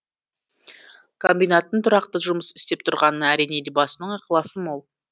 комбинаттың тұрақты жұмыс істеп тұрғанына әрине елбасының ықыласы мол